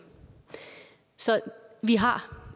så vi har